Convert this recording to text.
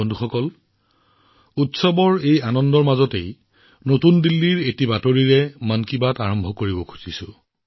বন্ধুসকল উৎসৱৰ এই উৎসাহউদ্দীপনাৰ মাজত দিল্লীৰ এটা খবৰেৰে মন কী বাত আৰম্ভ কৰিব বিচাৰিছো